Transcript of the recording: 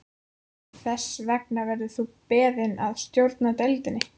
Þess vegna verður þú beðinn að stjórna deildinni